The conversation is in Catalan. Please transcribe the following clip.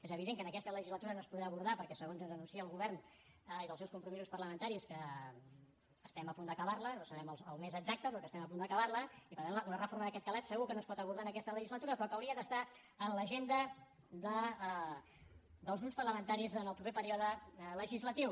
és evident que en aquesta legislatura no es podrà abordar perquè segons ens anuncia el govern dels seus compromisos parlamentaris que estem a punt d’acabar la no sabem el mes exacte però que estem a punt d’acabar la i per tant una reforma d’aquest calat segur que no es pot abordar en aquesta legislatura però que hauria d’estar en l’agenda dels grups parlamentaris en el proper període legislatiu